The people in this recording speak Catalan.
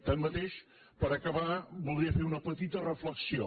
tanmateix per acabar voldria fer una petita reflexió